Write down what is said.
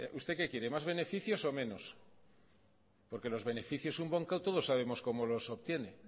usted que quiere más beneficios o menos porque los beneficios un banco todos sabemos como los obtiene